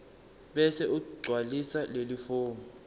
bese ugcwalisa lelifomu